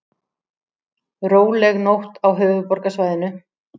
Róleg nótt á höfuðborgarsvæðinu